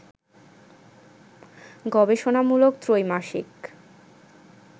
গবেষণামূলক ত্রৈমাসিক